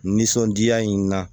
Nisɔndiya in na